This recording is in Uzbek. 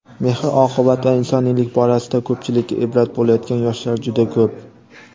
mehr-oqibat va insoniylik borasida ko‘pchilikka ibrat bo‘layotgan yoshlar juda ko‘p.